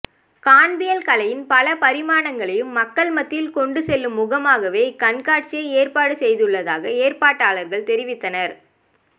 காண்பியல் கலையின் பல பரிமாணங்களையும் மக்கள் மத்தியில் கொண்டு செல்லும் முகமாகவே இக் கண்காட்சியை ஏற்பாடு செய்துள்ளதாக ஏற்பாட்டாளர்கள் தெரிவித்தனர்